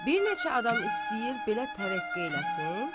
Bir neçə adam istəyir belə tərəqqi eləsin?